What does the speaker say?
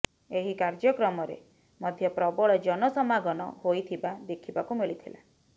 ଏହି କାର୍ଯ୍ୟକ୍ରମରେ ମଧ୍ୟ ପ୍ରବଳ ଜନ ସମାଗମ ହୋଇଥିବା ଦେଖିବାକୁ ମିଲିଥିଲା